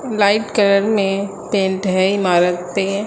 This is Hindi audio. लाइट कलर में पेंट है इमारत पे।